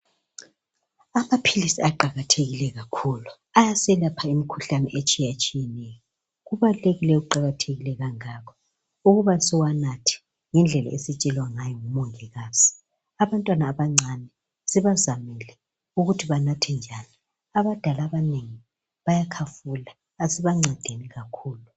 Amaphilisi aqakathekile kakhulu ayaselapha imikhuhlane etshiyeneyo. Kubalulekile kuqakathekile njalo ukuba siwanatha. ngendlela esitshelwa ngayo ngomongikazi. Abantwana abancane sibazamele ukuthi banathe njani. Abadala abanengi bayakhafula. Asibamcedeni labo kakhulu